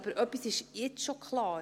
Aber etwas ist schon jetzt klar: